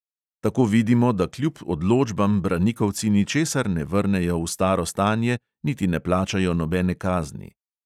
Tako vidimo, da kljub odločbam branikovci ničesar ne vrnejo v staro stanje, niti ne plačajo nobene kazni.